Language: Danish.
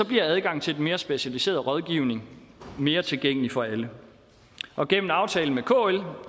bliver adgangen til den mere specialiserede rådgivning mere tilgængelig for alle gennem aftalen med kl